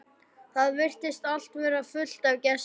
Það virtist allt vera fullt af gestum.